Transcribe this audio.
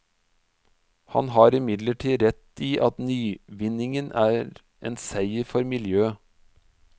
Han har imidlertid rett i at nyvinningen er en seier for miljøet.